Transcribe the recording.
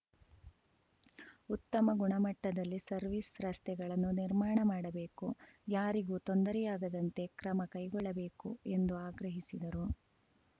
ಉತ್ತಮ ಗುಣಮಟ್ಟದಲ್ಲಿ ಸರ್ವಿಸ್ ರಸ್ತೆಗಳನ್ನು ನಿರ್ಮಾಣ ಮಾಡಬೇಕು ಯಾರಿಗೂ ತೊಂದರೆಯಾಗದಂತೆ ಕ್ರಮಕೈಗೊಳ್ಳಬೇಕು ಎಂದು ಆಗ್ರಹಿಸಿದರು